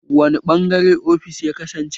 Wani ɓangare offis ya kasance?